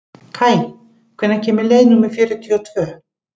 Kaj, hvenær kemur leið númer fjörutíu og tvö?